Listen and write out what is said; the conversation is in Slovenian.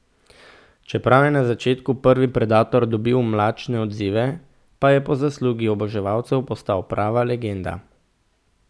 Čeprav je na začetku prvi Predator dobil mlačne odzive, pa je po zaslugi oboževalcev postal prava legenda.